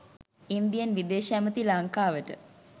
Indian විදේශ ඇමති ලංකාවට